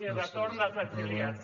i retorn dels exiliats